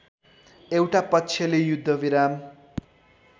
एउटा पक्षले युद्धविराम